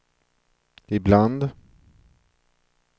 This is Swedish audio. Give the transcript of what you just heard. ibland